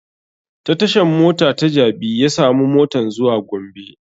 Ta tashan mota ta jabi ya samu motan zuwa gombe